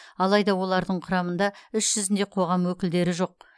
алайда олардың құрамында іс жүзінде қоғам өкілдері жоқ